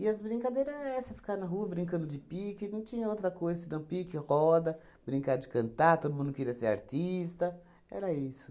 as brincadeira essa, ficar na rua brincando de pique, não tinha outra coisa senão pique, roda, brincar de cantar, todo mundo queria ser artista, era isso.